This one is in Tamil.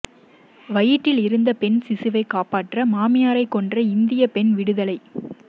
வயிற்றில் இருந்த பெண் சிசுவைக் காப்பாற்ற மாமியாரைக் கொன்ற இந்தியப் பெண் விடுதலை